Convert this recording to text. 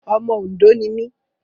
Ọmọ Òndó ni mí.